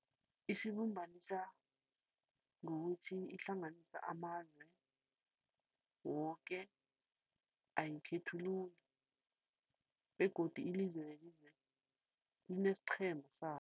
Isibumbanisa ngokuthi ihlanganisa amazwe woke, ayikhethululi begodu ilizwe nelizwe linesiqhema sabo.